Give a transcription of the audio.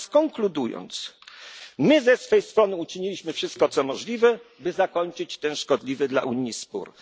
nie liczą. Teraz konkludując my ze swej strony uczyniliśmy wszystko, co możliwe, by zakończyć ten szkodliwy dla